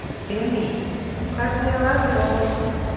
Emý, hvernig er veðrið á morgun?